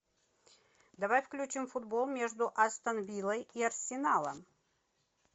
давай включим футбол между астон виллой и арсеналом